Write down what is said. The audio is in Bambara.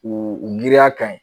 U u miiriya kaɲi